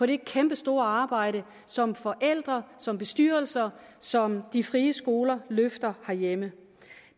det kæmpestore arbejde som forældrene som bestyrelserne som de frie skoler løfter herhjemme